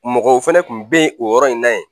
Mɔgɔw fana tun bɛ yen o yɔrɔ in na yen